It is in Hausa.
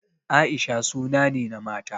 Aisha suna ne na mata.